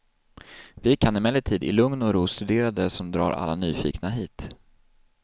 Vi kan emellertid i lugn och ro studera det som drar alla nyfikna hit.